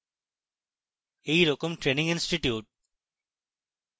এই রকম training institutes